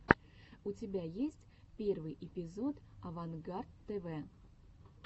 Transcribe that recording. у тебя есть первый эпизод авангард тв